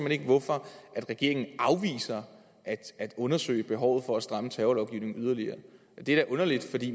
ikke hvorfor regeringen afviser at undersøge behovet for at stramme terrorlovgivningen yderligere det er da underligt